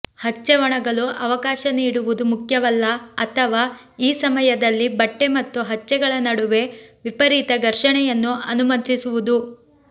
ಹಚ್ಚೆ ಒಣಗಲು ಅವಕಾಶ ನೀಡುವುದು ಮುಖ್ಯವಲ್ಲ ಅಥವಾ ಈ ಸಮಯದಲ್ಲಿ ಬಟ್ಟೆ ಮತ್ತು ಹಚ್ಚೆಗಳ ನಡುವೆ ವಿಪರೀತ ಘರ್ಷಣೆಯನ್ನು ಅನುಮತಿಸುವುದು